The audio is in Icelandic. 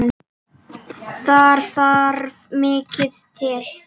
Þar þarf mikið til.